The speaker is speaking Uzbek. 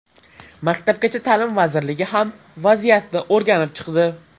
Maktabgacha ta’lim vazirligi ham vaziyatni o‘rganib chiqdi .